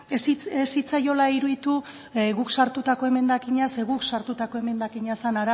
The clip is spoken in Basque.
ez zitzaiola iruditu guk sartutako emendakina ze gu sartutako emendakina zen